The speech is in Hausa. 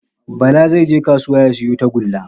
Bala zai je kasuwa ya siyo tagulla